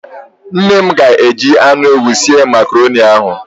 Nne m ga-eji anụ ewu sie Makaroni ahụ.